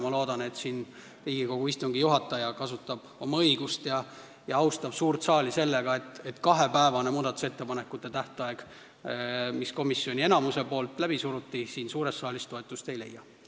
Ma loodan, et Riigikogu istungi juhataja kasutab oma õigust ja austab suurt saali sellega, et kahepäevane muudatusettepanekute esitamise tähtaeg, mille komisjoni enamus läbi surus, siin suures saalis toetust ei leia.